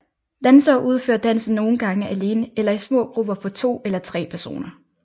Dansere udfører dansen nogen gange alene eller i små grupper på to eller tre personer